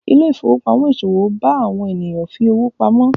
Ile-ifowopamọ iṣowo bá àwọn ènìyàn fí ọwọ pàmò.